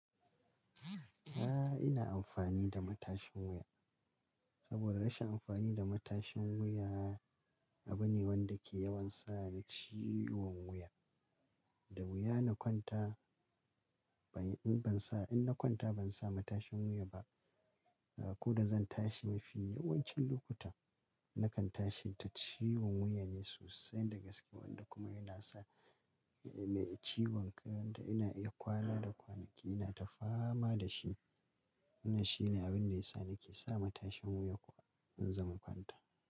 A'a, ina amfani da matashin wuya. Saboda rashin amfani da matashin wuya abu ne wanda ke yawan sa ni ciwon wuya. Da wuya na kwanta in ban sa, in na kwanta ban sa matashin wuya ba. Ko da zan tashi mafi yawancin lokuta nakan tashi ta ciwon wuyan yi sosai daga gaske wanda kuma yana sa ni ciwon kai wanda ina iya kwala da kwanaki ina ta fama da shi. Wannan shine abin da yasa na ke sa matashin wuya kuwa in zan kwanta.